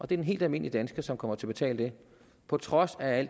den helt almindelige dansker som kommer til at betale det på trods af